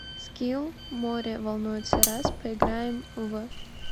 скилл море волнуется раз поиграем в